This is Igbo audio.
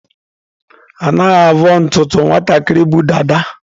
Anaghị avọ ntutu nwatakịrị bu dada.